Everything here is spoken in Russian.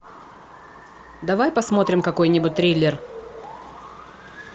давай посмотрим какой нибудь триллер